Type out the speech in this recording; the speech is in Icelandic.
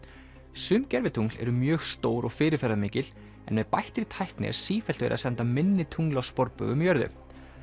sum gervitungl eru mjög stór og fyrirferðamikil en með bættri tækni er sífellt verið að senda minni tungl á sporbaug um jörðu